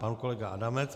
Pan kolega Adamec.